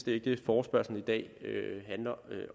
ikke det forespørgslen i dag handler